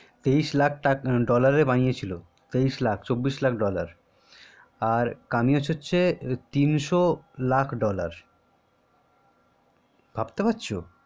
তেইশ লাখ ডলারএ বানিয়েছিল চব্বিশ লাখ ডলার আর কামিয়েছে হচ্ছে তিনশো লাখ ডলার ভাবতে পারছো